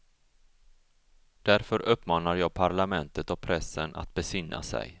Därför uppmanar jag parlamentet och pressen att besinna sig.